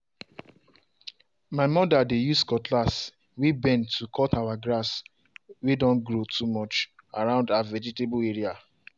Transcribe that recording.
my mother dey use cutlass way bend to cut our grass way don grow too much round her vegetable area.